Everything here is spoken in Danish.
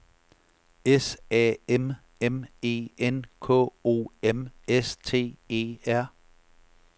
S A M M E N K O M S T E R